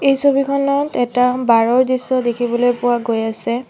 এই ছবিখনত এটা বাৰ ৰ দৃশ্য দেখিবলৈ পোৱা গৈ আছে।